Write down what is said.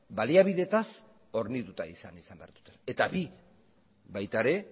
baliabideetaz hornituta izan behar dute eta bi baita ere